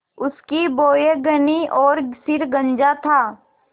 उसकी भौहें घनी और सिर गंजा था